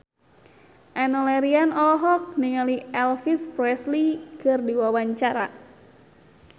Enno Lerian olohok ningali Elvis Presley keur diwawancara